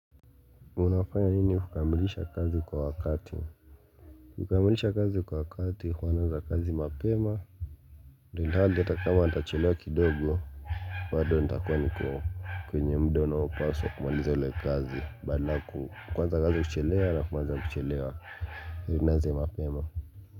Unafanya nini hukamilisha kazi kwa wakati? Kukamilisha kazi kwa wakati huwa namaliza kazi mapema Ndio nilale atakama nitachelewa kidogo Badoo ntakuwa niko kwenye mdono wapaso kumaliza ule kazi badala kuu kwanza kazi kuchelewa na kumaliza kuchelewa ili nianze mapema.